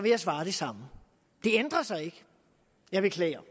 jeg svare det samme det ændrer sig ikke jeg beklager